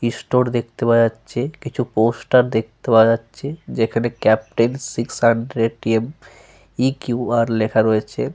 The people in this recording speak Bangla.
ইস্টোর দেখতে পাওয়া যাচ্ছে। কিছু পোস্টার দেখতে পাওয়া যাচ্ছে। যেখানে captain six hundred TM. EQR লেখা রয়েছে।